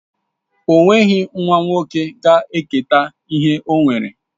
O nweghi nwa nwoke ga-eketa ihe ọ nwere